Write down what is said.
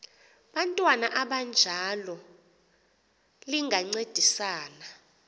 bantwana abanjalo lingancedisa